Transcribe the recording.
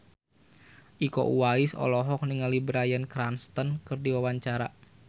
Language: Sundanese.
Iko Uwais olohok ningali Bryan Cranston keur diwawancara